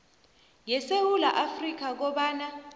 yesewula afrika kobana